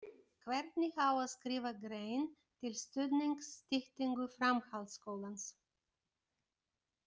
Hvernig á að skrifa grein til stuðnings styttingu framhaldsskólans?